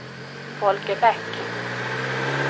Folke Bäck